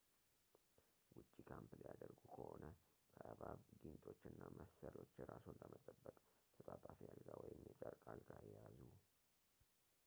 ውጪ ካምፕ ሊያደርጉ ከሆነ ከእባብ ጊንጦች እና መሰሎች ራስዎን ለመጠበቅ ተጣጣፊ አልጋ ወይም የጨርቅ አልጋ ይያዙ